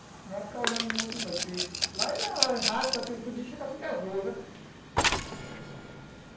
Não vai ficar olhando muito não, porque lá ele raspa aquilo tudinho e chega a ficar azul, né?